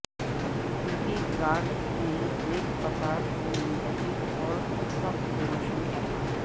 Debbie grid میں ایک قطار کو منتخب اور صف کو روشن کرنا